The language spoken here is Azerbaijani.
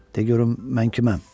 De görüm mən kiməm?